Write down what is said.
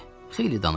Xeyli danışdı.